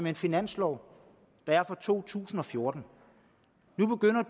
en finanslov der er for to tusind og fjorten nu begynder